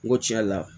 N ko tiɲɛ yɛrɛ la